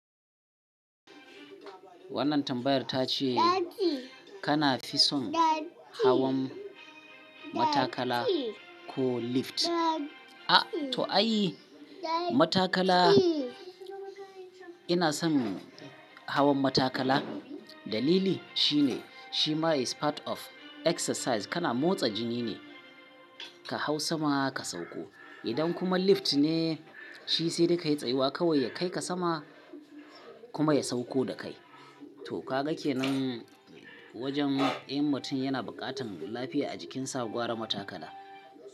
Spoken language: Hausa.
Wannan tambayar ta ce kana fi son hawan matakala ko lift? A to ai matakala ina son hawan matakala. Dalili shine shima is part of exercise kana motsa jini ne ka hau sama ka sauko. Idan kuma lift ne shi sai da ka yi tsayiwa kawai ya kai ka sama kuma ya sauko da kai. To ka gake nan wajen in mutum yana buƙatar lafiya a jikinsa gwara matakala.